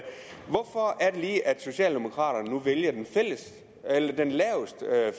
socialdemokraterne nu vælger den laveste